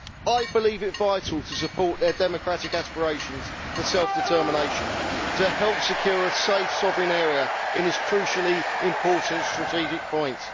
I believe it vital to support their democratic aspirations for self determination to help secure a safe, sovereign area in this crucially important strategic point.